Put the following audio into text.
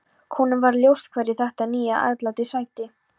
Honum varð ljóst hverju þetta nýja atlæti sætti.